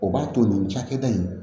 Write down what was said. O b'a to nin cakɛda in